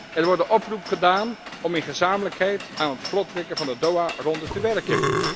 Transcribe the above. Er wordt een oproep gedaan om in gezamenlijkheid aan het vlot trekken van de Doha ronde te werken.